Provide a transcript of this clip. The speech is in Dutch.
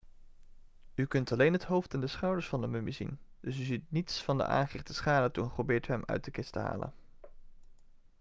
u kunt alleen het hoofd en de schouders van de mummie zien dus u ziet niets van de aangerichte schade toen geprobeerd werd hem uit de kist te halen